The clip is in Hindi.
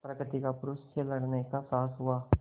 प्रकृति का पुरुष से लड़ने का साहस हुआ